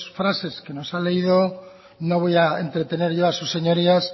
frases que nos ha leído no voy a entretener yo a sus señorías